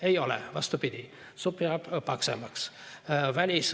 Ei ole nii, vastupidi, supp jääb paksem.